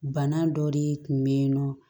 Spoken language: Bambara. Bana dɔ de tun bɛ yen nɔ